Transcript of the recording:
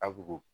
A bugu